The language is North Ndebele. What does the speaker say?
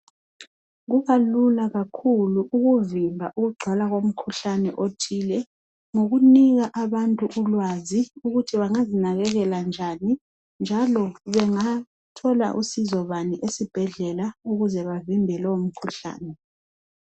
Kubalula kakhulu ukuvimba ukugcwala komkhuhlane othile. Ngokunika abantu ulwazi ukuthi bangazinakelela njani, njalo bengathola usizo bani ezibhedlela ukuze bavimbe lowo mkhuhlane.